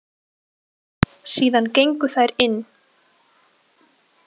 Síðan gengu þær inn.